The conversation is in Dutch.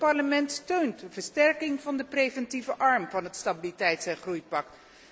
Het Parlement steunt de versterking van de preventieve arm van het stabiliteits en groeipact.